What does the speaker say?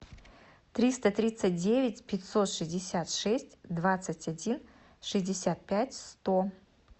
триста тридцать девять пятьсот шестьдесят шесть двадцать один шестьдесят пять сто